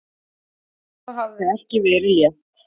Þetta hafði ekki verið létt.